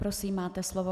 Prosím, máte slovo.